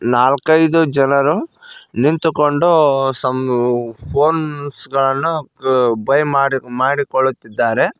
ನಾಲ್ಕೈದು ಜನರು ನಿಂತುಕೊಂಡು ಸಮ್ಮು ಫೋನ್ಸ್ ಗಳನ್ನು ಬೈ ಮಾಡಿ ಮಾಡಿಕೊಳ್ಳುತ್ತಿದ್ದಾರೆ.